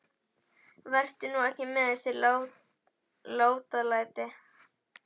Vertu nú ekki með þessi látalæti.